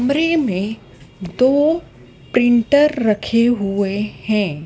कमरे में दो प्रिंटर रखे हुए हैं।